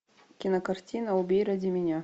кинокартина убей ради меня